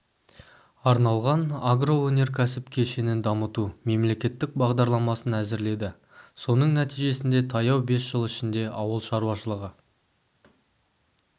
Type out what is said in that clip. арналған агроөнеркәсіп кешенін дамыту мемлекеттік бағдарламасын әзірледі соның нәтижесінде таяу бес жыл ішінде ауыл шаруашылығы